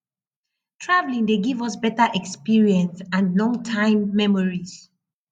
traveling dey give us better experience and long time memories